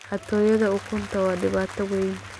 Xatooyada ukunta waa dhibaato weyn.